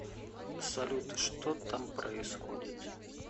салют что там происходит